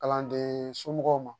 Kalanden somɔgɔw ma